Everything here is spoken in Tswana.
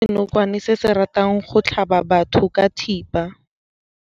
Re bone senokwane se se ratang go tlhaba batho ka thipa.